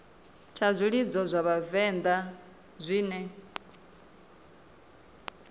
tsha zwilidzo zwa vhavenḓa zwine